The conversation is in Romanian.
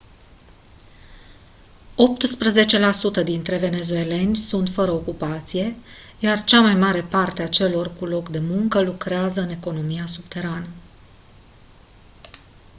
optsprezece la sută dintre venezueleni sunt fără ocupație iar cea mai mare parte a celor cu loc de muncă lucrează în economia subterană